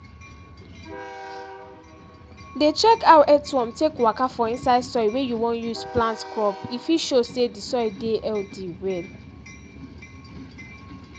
dey check how earthworm take waka for inside soil wey you wan use plant crop e fit show say the soil dey healthy well